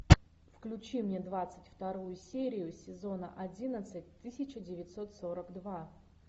включи мне двадцать вторую серию сезона одиннадцать тысяча девятьсот сорок два